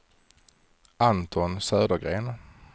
Anton Södergren